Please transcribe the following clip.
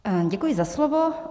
Děkuji za slovo.